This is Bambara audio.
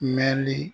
Mɛnli